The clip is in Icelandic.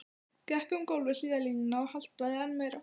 Gekk um gólf við hliðarlínuna og haltraði enn meira.